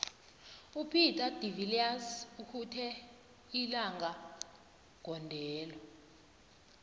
upeter de viliers ukhuthe ilinga gondelo